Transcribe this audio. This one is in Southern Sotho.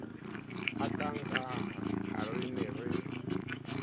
hakaakang ha re ne re